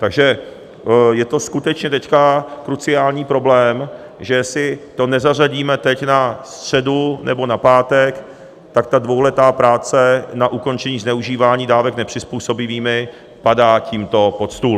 Takže je to skutečně teď kruciální problém, že jestli to nezařadíme teď na středu nebo na pátek, tak ta dvouletá práce na ukončení zneužívání dávek nepřizpůsobivými padá tímto pod stůl.